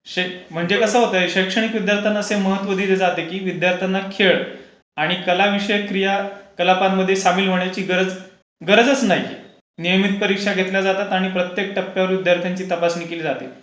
म्हणजे कसं होतंय की शैक्षणिक विद्यार्थ्यांना महत्त्व दिले जाते की विद्यार्थ्यांना खेळ आणि कला विषयक क्रिया, कला प्रकारांमध्ये सामील होण्याची गरजच नाही. नेहमीच परीक्षा घेतल्या जातात आणि प्रत्येक टप्प्यावर विद्यार्थ्यांची तपासणी केली जाते.